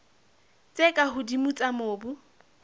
tse ka hodimo tsa mobu